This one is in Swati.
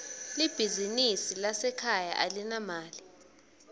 libizinsi lasekhaya alinamali